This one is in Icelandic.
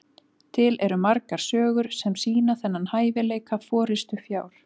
til eru margar sögur sem sýna þennan hæfileika forystufjár